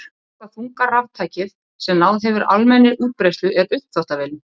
Síðasta þunga raftækið sem náð hefur almennri útbreiðslu er uppþvottavélin.